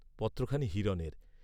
পত্রখানি হিরণের।